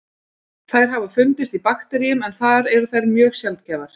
Þær hafa fundist í bakteríum en þar eru þær mjög sjaldgæfar.